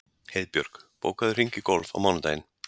Heiðbjörg, bókaðu hring í golf á mánudaginn.